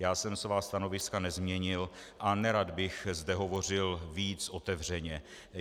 Já jsem svá stanoviska nezměnil a nerad bych zde hovořil víc otevřeně.